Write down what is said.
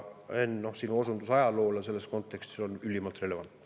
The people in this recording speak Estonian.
Henn, sinu osundus ajaloole selles kontekstis on ülimalt relevantne.